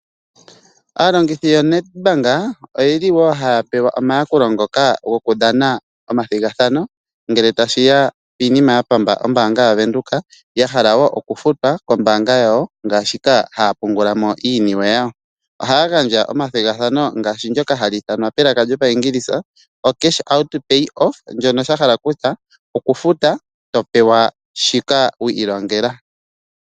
Aalongithi yoNEDBANK, oyeli wo haya pewa omayakulo goku dhana nomathigathano ngele tashi ya piinima ya pamba ombaanga yaVenduka, ya hala wo oku futwa kombaanga yawo ngaashi wo haya pungula mo iiniwe yawo. Ohaya gandja wo omathigathano ngaashi ndoka hali ithanwa palaka lyoshiingilisa oCashOut pays off shono sha hala kutya oku futa to pewa shoka wi ilongela.